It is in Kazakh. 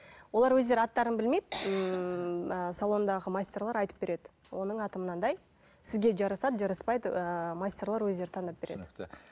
олар өздері аттарын білмейді ммм ы салондағы мастерлер айтып береді оның аты мынандай сізге жарасады жараспайды ыыы мастерлер өздері таңдап береді түсінікті